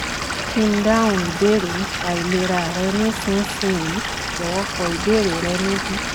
kí n dáhùn ìbéèrè nípa ìlera rẹ nísinsìnyí? jọ̀wọ́ kọ ìbéèrè rẹ níbí